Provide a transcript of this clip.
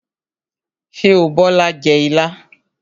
Ṣé o Bola o jẹ ilá?